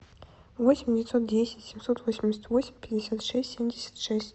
восемь девятьсот десять семьсот восемьдесят восемь пятьдесят шесть семьдесят шесть